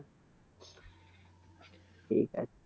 ঠিক আছে।